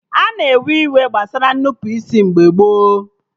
Ana ewe iwe gbasara Nnupụisi mgbe gboo